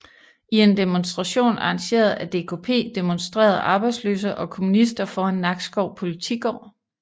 I en demonstration arrangeret af DKP demonstrerede arbejdsløse og kommunister foran Nakskov Politigård